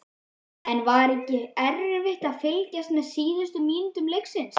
En var ekki erfitt að fylgjast með síðustu mínútum leiksins?